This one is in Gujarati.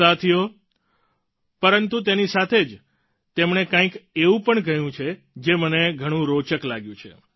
સાથીઓ પરંતુ તેની સાથે જ તેમણે કંઈક એવું પણ કહ્યું છે જે મને ઘણું રોચક લાગ્યું છે